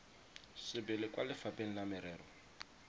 sebele kwa lefapheng la merero